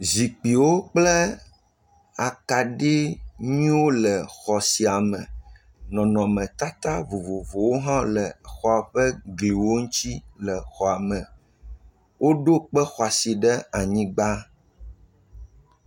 Ame geɖee le xɔme, nyɔnuvi ɖeka do asi ɖe ya me, enɔ zikpi dzĩ kple ɣee dzi, ŋutsuvi woameve titre ɖe eƒe ŋkume kpli nyɔnuvi ɖeka ewɔ abe wole dzidzɔ kpɔm.